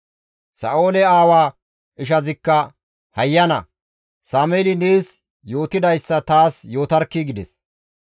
Sa7oole aawaa ishazikka, «Hayyana Sameeli nees yootidayssa taas yootarkkii!» gides.